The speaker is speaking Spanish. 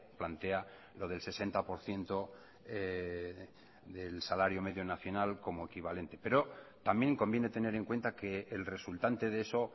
plantea lo del sesenta por ciento del salario medio nacional como equivalente pero también conviene tener en cuenta que el resultante de eso